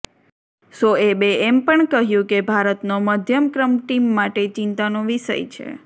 શોએબે એમ પણ કહ્યું કે ભારતનો મધ્યમ ક્રમ ટીમ માટે ચિંતાનો વિષય છે